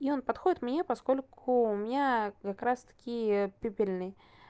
и подходит меня поскольку у меня как раз таки пепельный